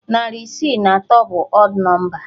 Narị isii na atọ bụ ọd nọmba.